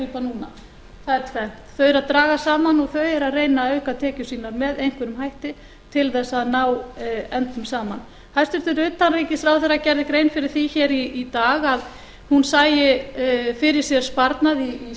grípa núna það er tvennt þau eru að draga saman og þau eru að reyna að auka tekjur sínar með einhverjum hætti til þess að ná endum saman hæstvirts utanríkisráðherra gerði grein fyrir því hér í dag að hún sæi fyrir sér sparnað í